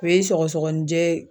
O ye sɔgɔsɔgɔninjɛ